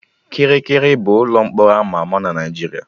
Kirikiri bụ ụlọ mkpọrọ ama ama na Naijiria